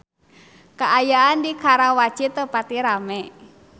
Kaayaan di Karawaci teu pati rame